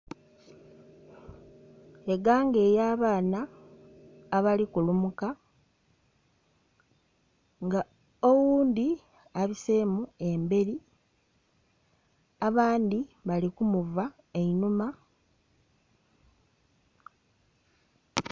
Eganga ey'abaana abali kulumuka nga oghundhi abiseemu emberi, abandhi bali kumuva einhuma...